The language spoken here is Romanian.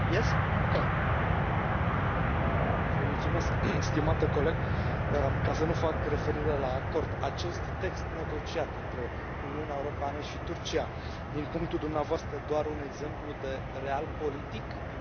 Domnule președinte, stimate coleg, ca să nu fac referire la acord, acest text negociat între Uniunea Europeană și Turcia, din punctul dumneavoastră de vedere, este doar un exemplu de din partea Uniunii Europene, sau mai mult decât atât?